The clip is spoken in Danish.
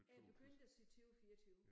Jeg er begyndt at sige 20 24